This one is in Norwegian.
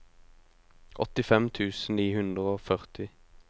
åttifem tusen ni hundre og førti